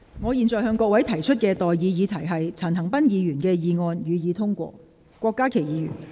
我現在向各位提出的待議議題是：陳恒鑌議員動議的議案，予以通過。